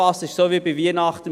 Das ist wie zu Weihnachten: